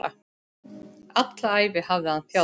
Alla ævi hafði hann þjáðst.